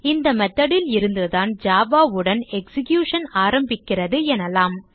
இந்த method ல் இருந்து தான் java உடன் எக்ஸிகியூஷன் ஆரம்பிக்கிறது எனலாம்